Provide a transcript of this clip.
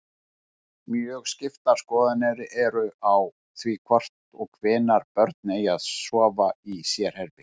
Mjög skiptar skoðanir eru á því hvort og hvenær börn eigi að sofa í sérherbergi.